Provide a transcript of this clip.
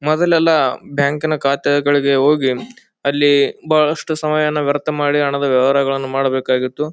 ಮೊದಲ್ಲೆಲ್ಲ ಬ್ಯಾಂಕಿನ ಕಾತೆಗಳಿಗೇ ಹೋಗಿ ಅಲ್ಲಿ ಬಹಳಷ್ಟು ಸಮಯವನ್ನು ವ್ಯರ್ಥ ಮಾಡಿ ಹಣದ ವ್ಯವಹಾರಗಳನ್ನು ಮಾಡಬೇಕಾಗುತ್ತಿತ್ತು.